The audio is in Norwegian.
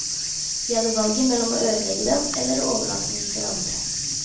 Vi hadde valget mellom å ødelegge den eller å overlate den til andre.